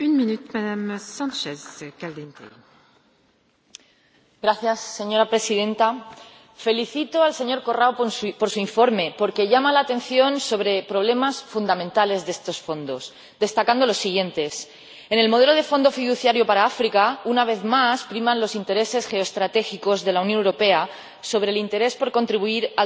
Señora Presidenta, felicito al señor Corrao por su informe, porque llama la atención sobre problemas fundamentales de estos fondos, destacando los siguientes en el modelo de Fondo Fiduciario de la UE para África, una vez más, priman los intereses geoestratégicos de la Unión Europea sobre el interés por contribuir al desarrollo de los países de tránsito y origen de las personas migrantes